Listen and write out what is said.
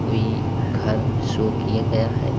कोई घर शो किया गया है।